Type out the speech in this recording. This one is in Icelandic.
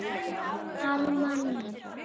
Alma mín.